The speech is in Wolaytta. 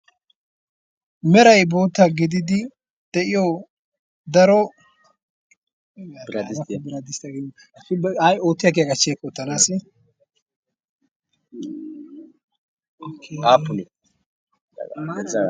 merai bootta gididi de'iyo darodiraai oottiyaa giyaa gachcheekk ootanaasi aappunii?